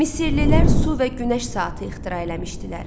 Misirlilər su və günəş saatı ixtira eləmişdilər.